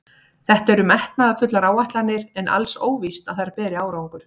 Þetta eru metnaðarfullar áætlanir en alls óvíst að þær beri árangur.